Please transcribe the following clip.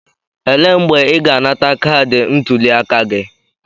Elee mgbe ị ga-anata kaadị ntuliaka gị?